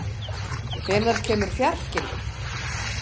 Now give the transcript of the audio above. , hvenær kemur fjarkinn?